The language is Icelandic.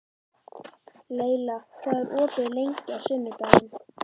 Leyla, hvað er opið lengi á sunnudaginn?